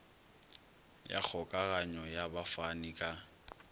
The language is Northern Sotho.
ya kgokaganyo ya bafani ka